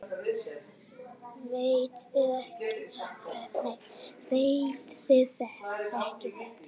Veit þið þekkið þetta.